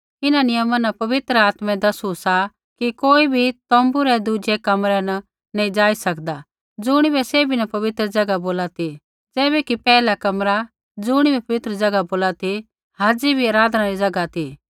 इन्हां नियमा न पवित्र आत्मै दसू सा कि कोई भी तोम्बू रै दुज़ै कमरै न नैंई जाई सकदा ज़ुणिबै सैभी न पवित्र ज़ैगा बोला ती ज़ैबैकि पैहला कमरा ज़ुणिबै पवित्र बोला ती हाज़ी बी आराधना री ज़ैगा ती